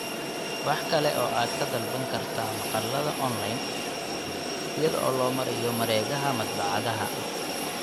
Waxa kale oo aad ka dalban kartaa maqaallada onlayn iyada oo loo marayo mareegaha madbacadaha.